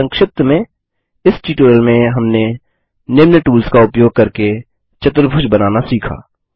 संक्षिप्त में इस ट्यूटोरियल में हमने निम्न टूल्स का उपयोग करके चतुर्भुज बनाना सीखा